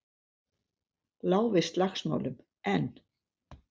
Lá við slagsmálum, en